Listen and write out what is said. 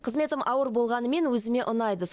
қызметім ауыр болғанымен өзіме ұнайды